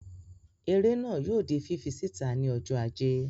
Eré náà yóò di fífí síta ní ọjọ́ Ajé